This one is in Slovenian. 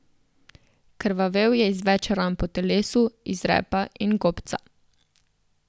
Krvavel je iz več ran po telesu, iz repa in gobca.